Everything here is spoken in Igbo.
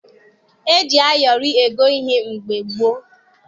E ji ayọrị ego ihe mgbe gboo.